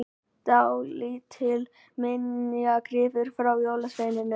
Dálítill minjagripur frá jólasveininum!